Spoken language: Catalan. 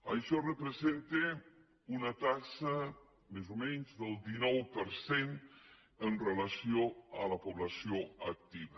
això representa una taxa més o menys del dinou per cent amb relació a la població activa